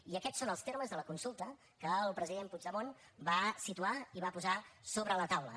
i aquests són els termes de la consulta que el president puigdemont va situar i va posar sobre la taula